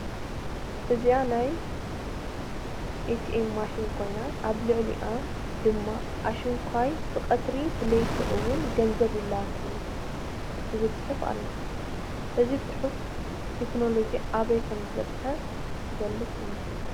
እዚኣ ናይ ኤቲኤም ማሽን ኮይና አብ ልዕሊአ ድማ አሽንኳይ ብቀትሪ ብለይቲ ውን ገንዘብ ይለአክ እዩ ዝብል ፅሑፍ አሎ። እዚ ፅሑፍ ቴክኖሎጂ አበይ ከም ዝበፅሐ ዝገልፅ እዩ።